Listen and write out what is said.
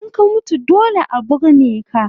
In ka mutu dole a burne ka